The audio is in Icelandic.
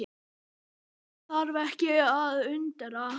Það þarf ekki að undra.